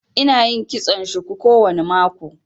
Ina yin kitson shuku kowane mako